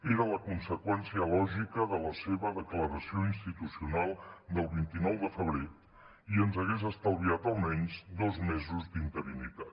era la conseqüència lògica de la seva declaració institucional del vint nou de febrer i ens hagués estalviat almenys dos mesos d’interinitat